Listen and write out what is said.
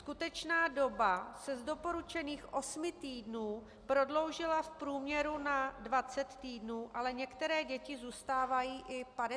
Skutečná doba se z doporučených osmi týdnů prodloužila v průměru na 20 týdnů, ale některé děti zůstávají i 50 týdnů.